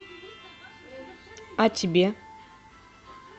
а тебе